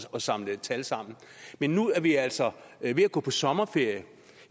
at samle tal sammen men nu er vi altså ved at gå på sommerferie